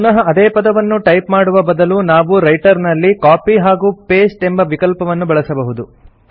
ಪುನಃ ಅದೇ ಪದವನ್ನು ಟೈಪ್ ಮಾಡುವ ಬದಲು ನಾವು ರೈಟರ್ ನಲ್ಲಿ ಕಾಪಿ ಹಾಗೂ ಪಾಸ್ಟೆ ಎಂಬ ವಿಕಲ್ಪವನ್ನು ಬಳಸಬಹುದು